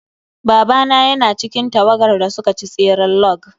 Babana yana cikin tawagar da suka ci tseren log.